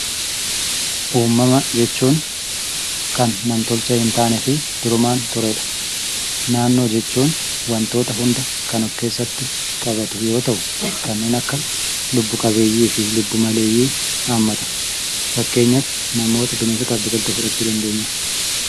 Uumama jechuun kan namtolchee hin taanee fi durumaan turedha. Naannoo jechuun waantota hunda kan of keessatti qabatu yoo ta'u kanneen akka lubbu qabeeyyii fi lubbu maleeyyii haammata. Fakkeenyaf namoota, bineensotaaf biqiltuu fudhachuu dandeenya.